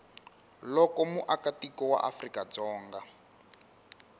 loko muakatiko wa afrika dzonga